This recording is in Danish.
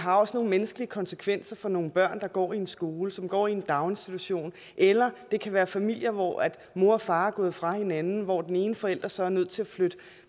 har også nogle menneskelige konsekvenser for nogle børn der går i en skole som går i en daginstitution eller det kan være familier hvor mor og far er gået fra hinanden og hvor den ene forælder så er nødt til at